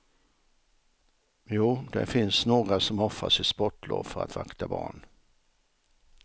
Jo, det finns några som offrar sitt sportlov för att vakta barn.